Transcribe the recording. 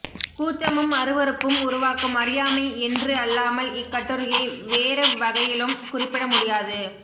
கூச்சமும் அருவருப்பும் உருவாக்கும் அறியாமை என்று அல்லாமல் இக்கட்டுரையை வேறெவ்வகையிலும் குறிப்பிடமுடியாது